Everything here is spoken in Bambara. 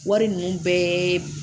Wari ninnu bɛɛ